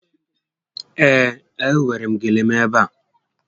Ee, e nwèrè m gele m ebe a